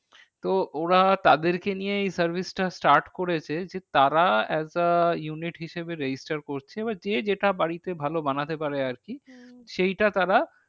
তো ওরা তাদেরকে নিয়ে এই service টা start করেছে। যে তারা as the united হিসাবে register করছে। এবার যে যেটা বাড়িতে ভালো বানাতে পারে আর কি হম সেইটা তারা